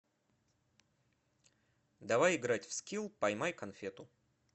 давай играть в скилл поймай конфету